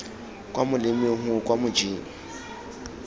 kwa molemeng gongwe kwa mojeng